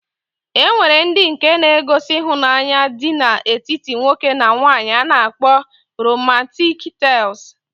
E nwere ndi nke na -egosi ihunanya dị na etiti nwoke na nwanyi a na-akpọ romantiik tels.